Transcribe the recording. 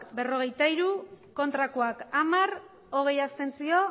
berrogeita hiru ez hamar abstentzioak